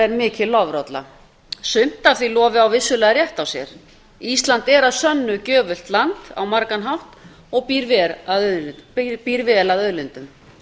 er mikil lofrolla sumt af því lofi á vissulega rétt á sér ísland er að sönnu gjöfult land á margan hátt og býr vel að auðlindum